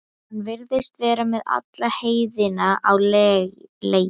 Hann virðist vera með alla heiðina á leigu.